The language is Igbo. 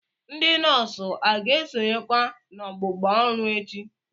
Ndị nọọsụ a ga-esonyekwa n'ọgbụgba ọrụ echi?